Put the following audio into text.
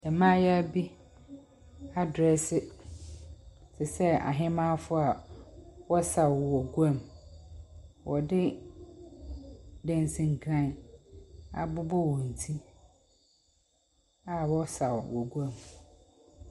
Mmayewa bi adrɛse te sɛ ahemmaa a wɔsaw wɔ guam. Wɔde dansinkran abobɔ wɔn ti a wɔresaw wɔ guam.